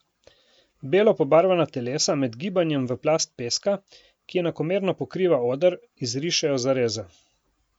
Belo pobarvana telesa med gibanjem v plast peska, ki enakomerno pokriva oder, izrišejo zareze.